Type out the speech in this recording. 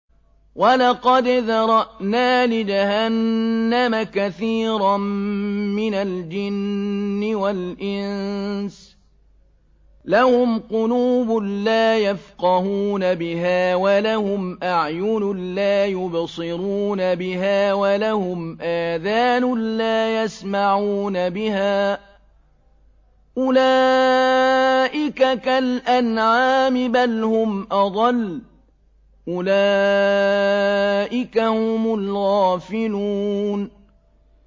وَلَقَدْ ذَرَأْنَا لِجَهَنَّمَ كَثِيرًا مِّنَ الْجِنِّ وَالْإِنسِ ۖ لَهُمْ قُلُوبٌ لَّا يَفْقَهُونَ بِهَا وَلَهُمْ أَعْيُنٌ لَّا يُبْصِرُونَ بِهَا وَلَهُمْ آذَانٌ لَّا يَسْمَعُونَ بِهَا ۚ أُولَٰئِكَ كَالْأَنْعَامِ بَلْ هُمْ أَضَلُّ ۚ أُولَٰئِكَ هُمُ الْغَافِلُونَ